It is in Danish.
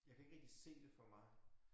Jeg kan ikke rigtig se det for mig